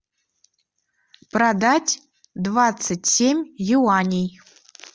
продать двадцать семь юаней